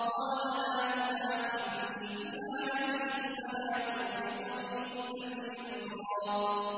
قَالَ لَا تُؤَاخِذْنِي بِمَا نَسِيتُ وَلَا تُرْهِقْنِي مِنْ أَمْرِي عُسْرًا